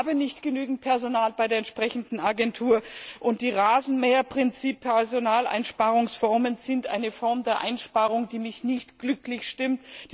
Wir haben nicht genügend Personal bei der entsprechenden Agentur, und die Rasenmäher Prinzip Personaleinsparungsformen sind eine Form der Einsparung, die mich nicht glücklich stimmt.